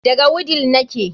Daga wudil nake